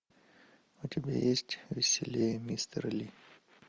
у тебя есть веселее мистер ли